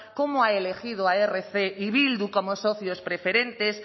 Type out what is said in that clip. cómo ha elegido rc y bildu como socios preferentes